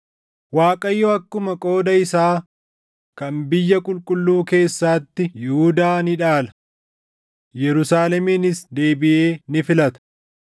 Waaqayyo akkuma qooda isaa kan biyya qulqulluu keessaatti Yihuudaa ni dhaala; Yerusaaleminis deebiʼee ni filata.